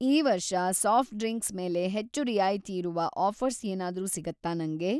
ಈ ವರ್ಷ soft drinks ಮೇಲೆ ಹೆಚ್ಚು ರಿಯಾಯಿತಿಯಿರುವ ಆಫ಼ರ್ಸ್‌ ಏನಾದ್ರೂ ಸಿಗತ್ತಾ ನಂಗೆ?